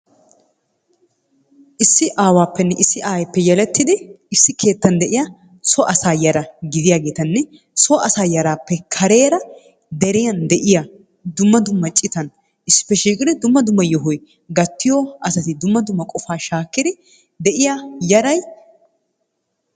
Issi aawaappenne issi aayeeppe yelettidi issi keettan de'iya so asaa yara gidiyageetanne so yaraappe kareera deriyan de'iya dumma dumma citan issippe shiiqidi dumma dumma yohoy gayttiyo asati dumma dumma qofaa shaakkidi de'iya yaray..